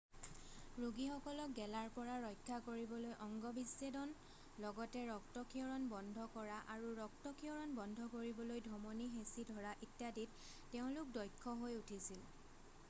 ৰোগীসকলক গেলাৰ পৰা ৰক্ষা কৰিবলৈ অঙ্গ বিচ্ছেদন লগতে ৰক্তক্ষৰণ বন্ধ কৰা আৰু ৰক্তক্ষৰণ বন্ধ কৰিবলৈ ধমনী হেঁচি ধৰা ইত্যাদিত তেওঁলোক দক্ষ হৈ উঠিছিল